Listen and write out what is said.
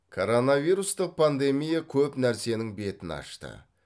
коронавирустық пандемия көп нәрсенің бетін ашты